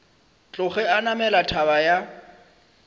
tloge a namela thaba ya